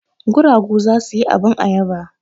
Guragu za su yi abin ayaba.